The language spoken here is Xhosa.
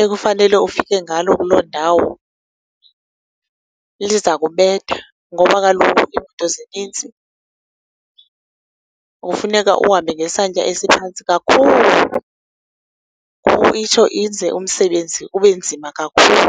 ekufanele ufike ngalo kuloo ndawo liza kubetha, ngoba kaloku iimoto zininzi, kufuneka uhambe ngesantya esiphantsi kakhulu. Ngoko itsho enze umsebenzi ubenzima kakhulu.